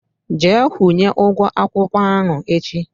Jee kwunye ụgwọ akwụkwọ ahụ echi!